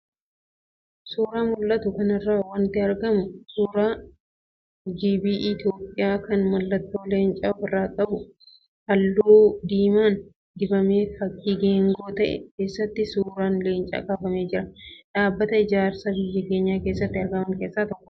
Suuraa mul'atu kanarraa wanti argamu suuraa BGI Itoophiyaa kan mallattoo Leencaa ofirraa qabu, halluu diimaan dibamee fakii geengoo ta'e keessatti suuraan Leencaa kaafamee jira. Dhaabbata ijaarsaa biyya keenya keessatti argaman keessaa tokkodha.